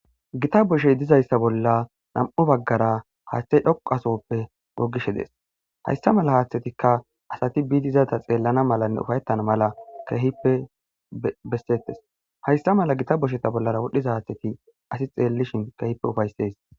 Gita boshey dizayssa bolla nam'u baggara haaththey dhoqu asoppe gogishe dees hayssa mala haaththetikka asati biidiizata xeellana malanne ufayettan mala kehippe bessettes hayssa mala gita bosheta bollara wodhdhiza haaththeti asi xeellishin kehippe ufaysses.